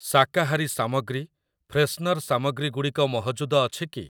ଶାକାହାରୀ ସାମଗ୍ରୀ, ଫ୍ରେଶନର୍ ସାମଗ୍ରୀ ଗୁଡ଼ିକ ମହଜୁଦ ଅଛି କି?